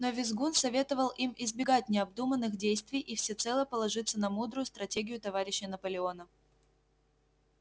но визгун советовал им избегать необдуманных действий и всецело положиться на мудрую стратегию товарища наполеона